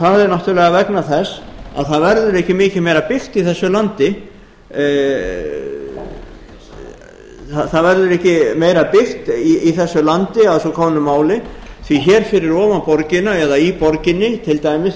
það er náttúrlega vegna þess að það verður ekki mikið meira byggt í þessu landi það verður ekki meira byggt í þessu landi að svo komnu máli því hér fyrir ofan borgina eða í borginni til dæmis